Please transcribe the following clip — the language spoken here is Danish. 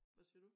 Hvad siger du?